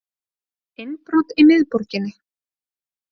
Innbrot í miðborginni